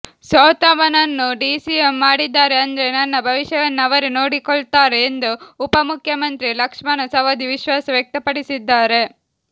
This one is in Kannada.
ಸೋತವನನ್ನು ಡಿಸಿಎಂ ಮಾಡಿದ್ದಾರೆ ಅಂದ್ರೆ ನನ್ನ ಭವಿಷ್ಯವನ್ನು ಅವರೇ ನೋಡಿಕೊಳ್ತಾರೆ ಎಂದು ಉಪ ಮುಖ್ಯಮಂತ್ರಿ ಲಕ್ಷ್ಮಣ ಸವದಿ ವಿಶ್ವಾಸ ವ್ಯಕ್ತಪಡಿಸಿದ್ದಾರೆ